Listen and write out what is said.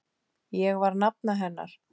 Ég var nafna hennar.